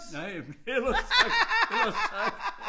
Nej ellers tak ellers tak